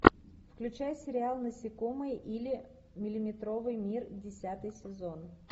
включай сериал насекомые или миллиметровый мир десятый сезон